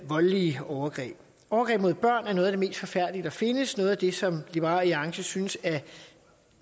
voldelige overgreb overgreb mod børn er noget af det mest forfærdelige der findes noget af det som liberal alliance synes er